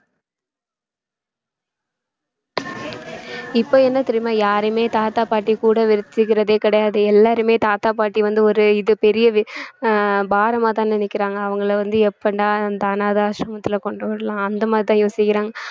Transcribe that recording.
இப்ப என்ன தெரியுமா யாரையுமே தாத்தா பாட்டி கூட வச்சுக்கிறதே கிடையாது எல்லாருமே தாத்தா பாட்டி வந்து ஒரு இது பெரிய அஹ் பாரமாதான் நினைக்கிறாங்க அவங்கள வந்து எப்படா அந்த அனாதை ஆசிரமத்தில கொண்டு விடலாம் அந்த மாதிரிதான் யோசிக்கிறாங்க